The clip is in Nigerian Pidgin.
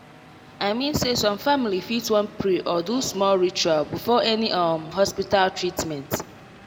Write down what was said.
i mean say some family fit wan pray or do small ritual before any um hospita treatment